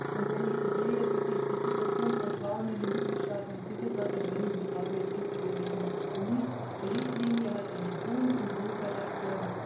Und wenn ich so sehe, wie sich die Situation von Frauen in den Mitgliedstaaten entwickelt hat, dann kann ich nur sagen Es gibt sehr, sehr viel zu tun. Die Richtlinie hat einen hohen Symbolcharakter.